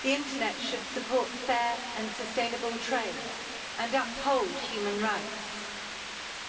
The internet should support fair and sustainable trade and uphold human rights,